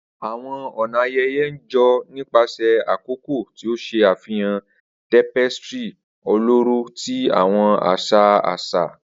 Awọn ọna ayẹyẹ n jo nipasẹ akoko, ti o ṣe afihan tapestry ọlọrọ ti awọn aṣa aṣa.